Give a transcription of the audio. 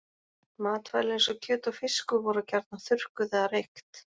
Matvæli eins og kjöt og fiskur voru gjarnan þurrkuð eða reykt.